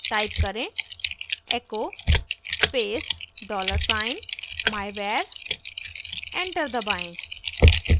type करें echo space dollar sign myvar enter दबाएं